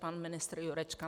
Pan ministr Jurečka.